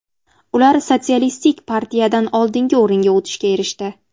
Ular Sotsialistik partiyadan oldinga o‘ringa o‘tishga erishdi.